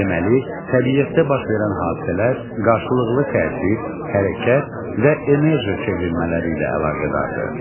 Deməli, təbiətdə baş verən hadisələr qarşılıqlı təsir, hərəkət və enerji çevrilmələri ilə əlaqədardır.